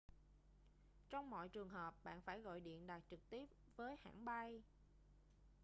trong mọi trường hợp bạn phải gọi điện đặt trực tiếp với hãng bay